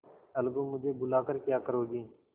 अलगूमुझे बुला कर क्या करोगी